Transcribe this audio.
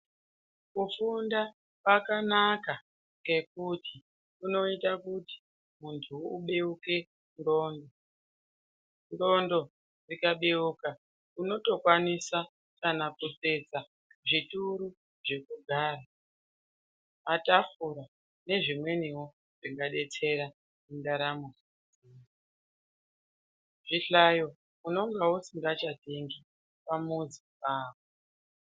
Kufunda kwakanaka ngekuti kunoite kuti munhu ubeuke nxlondo, nxlondo dzikabeuka unotokwanisa kana kutsetsa zvituru zvekugara matafura nezvimweniwo zvingadetsera mundaramo, zvihlayo unonga usisangachatengi pamuzi pako.